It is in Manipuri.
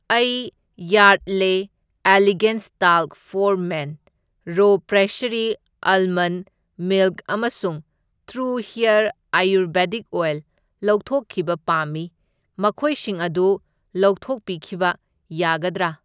ꯑꯩ Yardley elegance talc for men, ꯔꯣ ꯄ꯭ꯔꯦꯁꯁꯔꯤ ꯑꯥꯜꯃꯟꯗ ꯃꯤꯜꯛ ꯑꯃꯁꯨꯡ ꯇ꯭ꯔꯨ ꯍꯦꯔ ꯑꯌꯨꯔꯚꯦꯗꯤꯛ ꯑꯣꯏꯜ ꯂꯧꯊꯣꯛꯈꯤꯕ ꯄꯥꯝꯃꯤ, ꯃꯈꯣꯏꯁꯤꯡ ꯑꯗꯨ ꯂꯧꯊꯣꯛ ꯄꯤꯈꯤꯕ ꯌꯥꯒꯗ꯭ꯔꯥ?